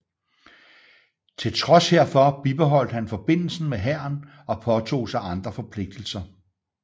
Til trods herfor bibeholdt han forbindelsen med hæren og påtog sig andre forpligtelser